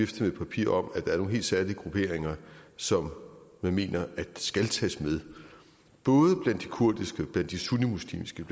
med et papir om at der er nogle helt særlige grupperinger som man mener både blandt de kurdiske blandt de sunnimuslimske